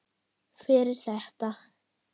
Fyrir þetta.